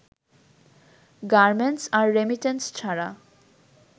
garments আর remittance ছাড়া